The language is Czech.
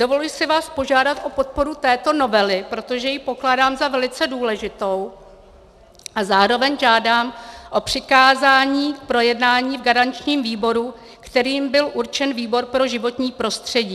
Dovoluji si vás požádat o podporu této novely, protože ji pokládám za velice důležitou, a zároveň žádám o přikázání k projednání v garančním výboru, kterým byl určen výbor pro životní prostředí.